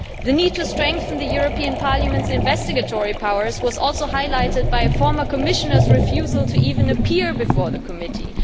The need to strengthen Parliament's investigatory powers was also highlighted by a former Commissioner's refusal to even appear before the committee.